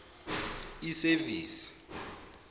isevisi